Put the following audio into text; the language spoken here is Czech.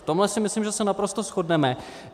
V tomhle si myslím, že se naprosto shodneme.